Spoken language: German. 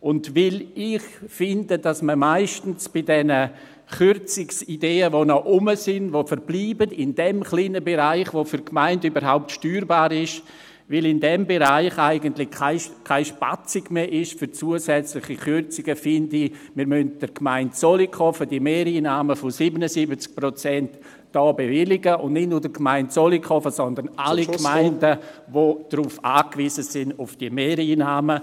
Und weil ich finde, dass man meistens bei diesen Kürzungsideen, die noch da sind und die in diesem kleinen Bereich, der für die Gemeinde überhaupt steuerbar ist, noch verbleiben … Weil es in diesem Bereich eigentlich keinen Spielraum mehr gibt für zusätzliche Kürzungen, finde ich: Wir müssen der Gemeinde Zollikofen diese Mehreinnahmen von 77 Prozent hier im Grossen Rat bewilligen, und nicht nur der Gemeinde Zollikofen, sondern allen Gemeinden, ...… die auf diese Mehreinnahmen